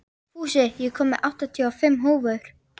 Fúsi, ég kom með áttatíu og fimm húfur!